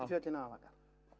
fjöllin hafa vakað